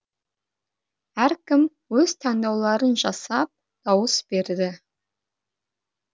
әркім өз таңдауларын жасап дауыс берді